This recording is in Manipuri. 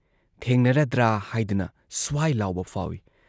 ꯊꯦꯡꯅꯔꯗ꯭ꯔꯥ ꯍꯥꯏꯗꯨꯅ ꯁ꯭ꯋꯥꯏ ꯂꯥꯎꯕ ꯐꯥꯎꯏ ꯫